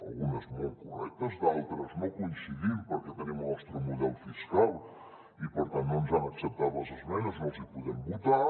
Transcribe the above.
algunes molt correctes d’altres no hi coincidim perquè tenim el nostre model fiscal i per tant no ens han acceptat les esmenes no les hi podem votar